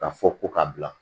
Ka fɔ ko ka bila